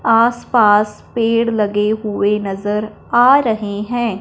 आस पास पेड़ लगे हुए नजर आ रहे हैं।